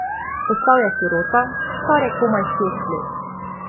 Postal je sirota, star je komaj šest let.